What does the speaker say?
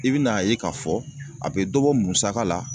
I bɛ na ye k'a fɔ a bɛ dɔ bɔ musaka la